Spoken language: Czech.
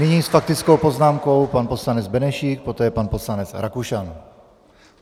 Nyní s faktickou poznámkou pan poslanec Benešík, poté pan poslanec Rakušan.